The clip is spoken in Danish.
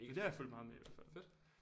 Men det har jeg fulgt meget med i i hvert fald